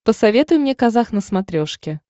посоветуй мне казах на смотрешке